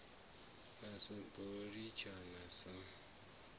sa ḓo ḽi tshinya sa